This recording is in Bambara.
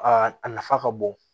Aa a nafa ka bon